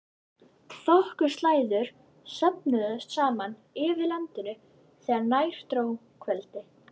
Þokuslæður söfnuðust saman yfir landinu þegar nær dró kvöldi.